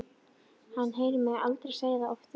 Hann heyrir mig aldrei segja það oftar.